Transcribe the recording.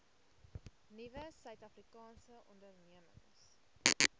nuwe suidafrikaanse ondernemings